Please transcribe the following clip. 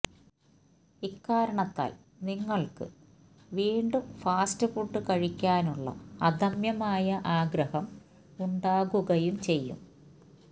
ഇക്കാരണത്താൽ നിങ്ങൾക്ക് വീണ്ടും ഫാസ്റ്റ് ഫുഡ് കഴിക്കാനുള്ള അദമ്യമായ ആഗ്രഹം ഉണ്ടാകുകയും ചെയ്യും